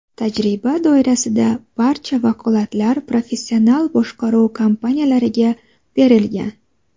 Tajriba doirasida barcha vakolatlar professional boshqaruv kompaniyalariga berilgan.